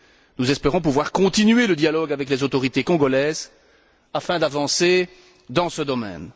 Nous espérons pouvoir continuer le dialogue avec les autorités congolaises, afin d'avancer dans ce domaine.